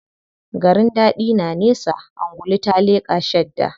Garin daɗi na nesa, angulu ta leƙa shadda.